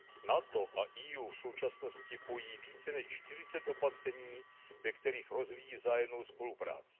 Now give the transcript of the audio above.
NATO a EU v současnosti pojí více než 40 opatření, ve kterých rozvíjí vzájemnou spolupráci.